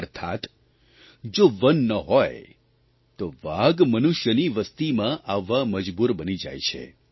અર્થાત્ જો વન ન હોય તો વાઘ મનુષ્યની વસતિમાં આવવા મજબૂર બની જાય છે